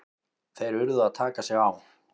Þeir urðu að taka sig á!